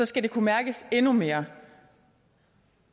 skal det kunne mærkes endnu mere